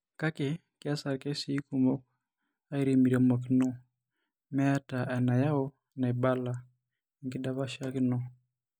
Kake, keasa irkesii kumok airimirimokino meeta enayau naibala (enkidapashakino)